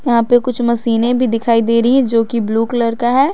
यहां पे कुछ मसीने भी दिखाई दे रही है जो कि ब्लू कलर का है।